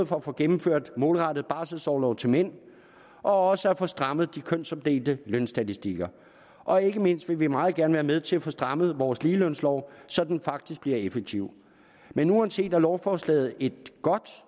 for at få gennemført målrettet barselsorlov til mænd og også at få strammet de kønsopdelte lønstatistikker og ikke mindst vil vi meget gerne være med til at få strammet vores ligelønslov så den faktisk bliver effektiv men uanset det er lovforslaget et godt